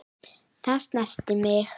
Það snerti mig.